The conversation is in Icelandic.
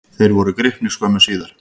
Þeir voru gripnir skömmu síðar.